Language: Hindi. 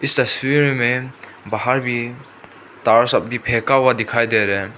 तस्वीर मे बाहर भी तार सब भी फेंका हुआ दिखाई दे रहे --